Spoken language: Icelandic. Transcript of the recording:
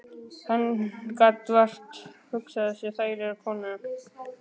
Hann gat vart hugsað sér þægilegri konu.